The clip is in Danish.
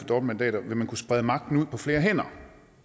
dobbeltmandater vil man kunne sprede magten ud på flere hænder